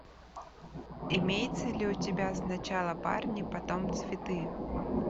имеется ли у тебя сначала парни потом цветы